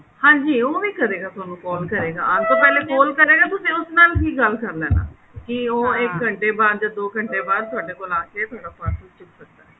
ਹਾਂਜੀ ਉਹ ਵੀ ਕਰੇਗਾ ਤੁਹਾਨੂੰ call ਕਰੇਗਾ ਆਉਣ ਤੋਂ ਪਹਿਲਾ call ਕਰੇਗਾ ਤੁਸੀਂ ਉਸ ਨਾਲ ਵੀ ਗੱਲ ਕਰ ਲੇਣਾ ਕਿ ਉਹ ਇੱਕ ਘੰਟੇ ਬਾਅਦ ਦੋ ਘੰਟੇ ਬਾਅਦ ਤੁਹਾਡੇ ਕੋਲ ਆਕੇ ਤੁਹਾਡਾ parcel ਚੁੱਕ ਸਕਦਾ ਹੈ